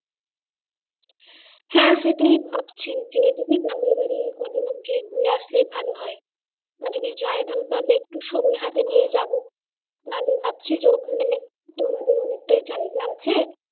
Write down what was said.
হ্যাঁ সেটাই ভাবছি যে যদি গ্রামের বাড়ি গিয়ে কদিন ঘুরে আসলে ভালো হয় যদি যাই তাহলে একটু সময় হাতে নিয়ে যাবো তাহলে ভাবছি যে ওখানে বেরোনোর অনেকটাই জায়গা আছে।